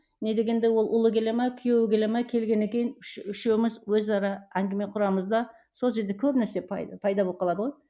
не дегенде ол ұлы келе ме күйеуі келе ме келгеннен кейін үшеуміз өзара әңгіме құрамыз да сол жерде көп нәрсе пайда болып қалады ғой